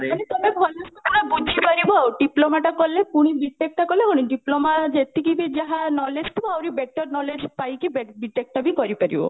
ମାନେ ତମେ ଭଲସେ ପୁରା ବୁଝିପାରିବ ଆଉ diploma ଟା କଲେ ପୁଣି B.TECH ଟା କଲେ କଣ କି diploma ଯେତିକି ବି ଯାହା knowledge ଥିବ ଆହୁରି better knowledge ପାଇକି B.TECH ଟା ବି କରିପାରିବ